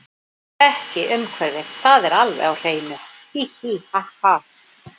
Ekki umhverfið það er alveg á hreinu, hí, hí ha, ha.